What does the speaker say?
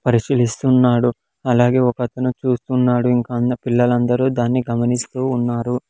పరిశీలిస్తున్నాడు అలాగే ఒకతను చూస్తున్నాడు ఇంకా అన్న పిల్లలందరూ దాన్ని గమనిస్తూ ఉన్నారు.